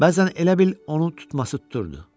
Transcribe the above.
Bəzən elə bil onun tutması tuturdu.